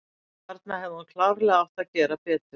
Þarna hefði hún klárlega átt að gera betur.